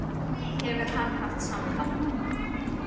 Hefur hann haft samband núna?